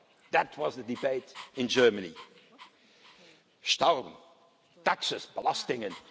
that was the debate in Germany, Steuern taxes blasting